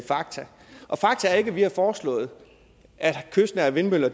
fakta og fakta er ikke at vi har foreslået at kystnære vindmøller